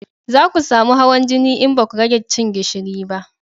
Za ku samu hawan jini in baku rage cin gishiri ba